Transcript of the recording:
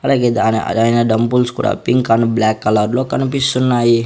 అలాగే దాని అదైనా డంబుల్స్ కూడా పింక్ అండ్ బ్లాక్ కలర్ లో కనిపిస్తున్నాయి.